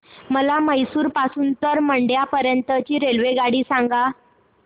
मला म्हैसूर पासून तर मंड्या पर्यंत ची रेल्वेगाडी सांगा